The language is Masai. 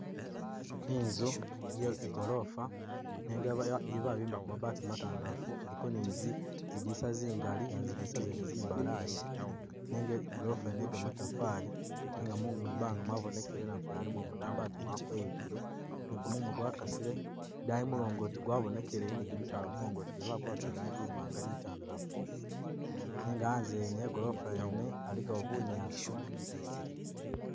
Inzu ye igolofa nenga babimbako mabaati matandalafu iliko ni ziddilisa zingali zidilisa zene zimbalayi nenga igolofa yene yegamatofali nenga mwibanga mwabonekele namufeli alimo umudambi ati mwakweyukile ni gumumu gwakasile idayi mulongoti gwabonekele ni gimisaala mulongoti gwene baguwaka ilangi imwana ni itandalafu nega hanze hene he golofa yene aligawo bunyaasi.